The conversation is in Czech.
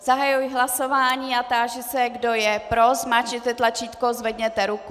Zahajuji hlasování a táži se, kdo je pro, zmáčkněte tlačítko, zvedněte ruku.